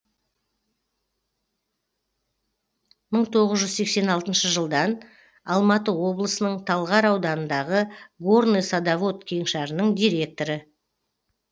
мың тоғыз жүз сексен алтыншы жылдан алматы облысының талғар ауданындағы горный садовод кеңшарының директоры